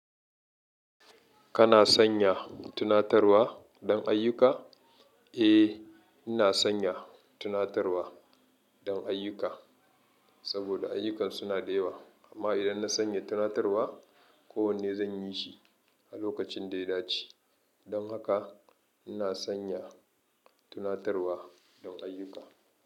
Kana sanya tunatarwa don ayyuka? Eh, ina sanya tunatarwa don ayyuka saboda ayyukan suna da yawa, amma idan na sanya tunatarwa, ko wanne zan yi shi a lokacin da ya dace. Don haka ina sanya tunatarwa don ayuka.